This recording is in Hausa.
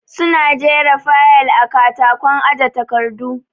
Su na jera fayal a katakon aje takardu